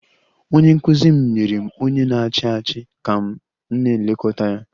Onye nkụzi m nyere m onye na-achị achị ka m na-elekọta ya